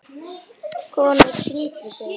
Konur signdu sig.